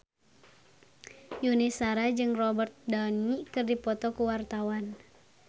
Yuni Shara jeung Robert Downey keur dipoto ku wartawan